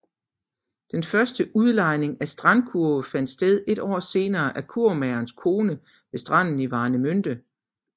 Den første udlejning af strandkurve fandt sted et år senere af kurvemagerens kone ved stranden i Warnemünde